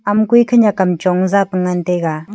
ama kui khanyak kam chong zapu ngantaiga.